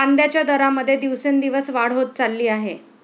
कांद्याच्या दरामध्ये दिवसेंदिवस वाढ होत चालली आहे.